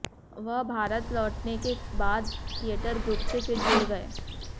वह भारत लौटने के बाद थियेटर ग्रुप से फिर जुड़ गये